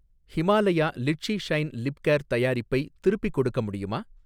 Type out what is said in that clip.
Himalaya litchi shine lip care தயாரிப்பை திருப்பிக் கொடுக்க முடியுமா?